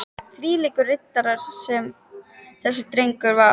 Þvílíkur riddari sem þessi drengur var.